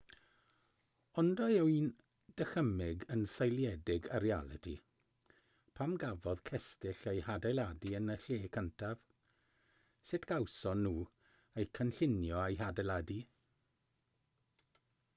ond a yw'n dychymyg yn seiliedig ar realiti pam gafodd cestyll eu hadeiladu yn y lle cyntaf sut gawson nhw eu cynllunio a'u hadeiladu